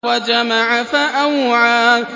وَجَمَعَ فَأَوْعَىٰ